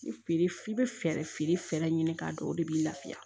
Feere i bɛ fɛɛrɛ feere fɛɛrɛ ɲini k'a dɔn o de b'i lafiya